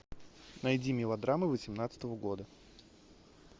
найди мелодрамы восемнадцатого года